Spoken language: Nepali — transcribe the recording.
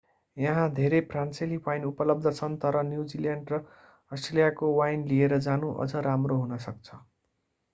यहाँ धेरै फ्रान्सेली वाइन उपलब्ध छन् तर न्युजिल्यान्ड र अस्ट्रेलियाको वाइन लिएर जानु अझ राम्रो हुन सक्छ